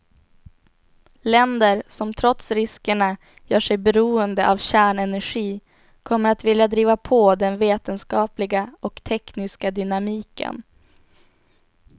Länder som trots riskerna gör sig beroende av kärnenergi kommer att vilja driva på den vetenskapliga och tekniska dynamiken.